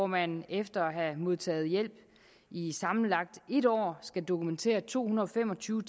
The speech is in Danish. man efter at have modtaget hjælp i sammenlagt en år skal dokumentere to hundrede og fem og tyve